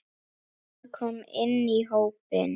Hann kom inn í hópinn.